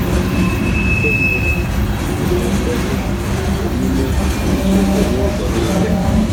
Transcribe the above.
Nke mbụ, ọ̀ ga - ekwe gị omume izu okè n’ụzọ nile?